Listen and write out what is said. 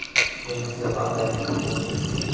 Yangi zelandiyalik futbolchi.